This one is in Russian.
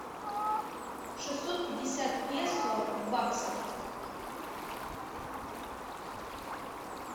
шестьсот пятьдесят песо в баксах